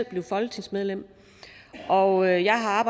blev folketingsmedlem og jeg har